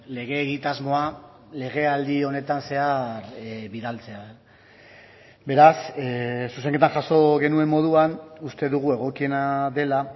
lege egitasmoa lege aldi honetan zehar bidaltzea beraz zuzenketa jaso genuen moduan uste dugu egokiena dela